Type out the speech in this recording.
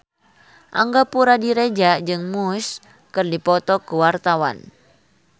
Angga Puradiredja jeung Muse keur dipoto ku wartawan